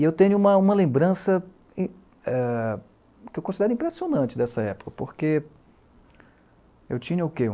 E eu tenho uma uma lembrança eh, que eu considero impressionante dessa época, porque eu tinha o quê?